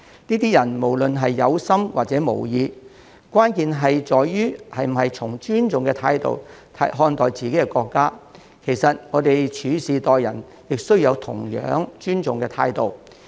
這些人無論是有心還是無意，關鍵在於是否以尊重態度看待自己的國家，其實在處事待人方面，也需要秉持同一尊重態度。